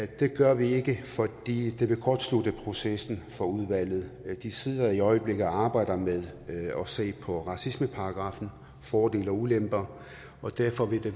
det gør vi ikke fordi det vil kortslutte processen for udvalget de sidder i øjeblikket og arbejder med at se på racismeparagraffen fordele og ulemper og derfor vil